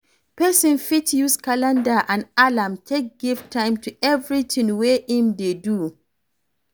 Person fit use calender and alarm take give time to everything wey im dey do